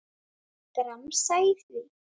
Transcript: Gramsa í því.